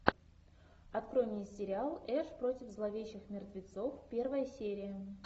открой мне сериал эш против зловещих мертвецов первая серия